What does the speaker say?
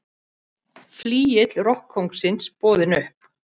Flygill rokkkóngsins boðinn upp